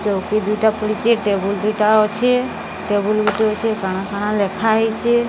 ଚୌକି ଦୁଇଟା ପଡ଼ିଚି। ଟେବୁଲ୍ ଦୁଇଟା ଅଛି। ଟେବୁଲ୍ ଗୁଟେ ଅଛି। କାଣା କାଣା ଲେଖା ହେଇଚି।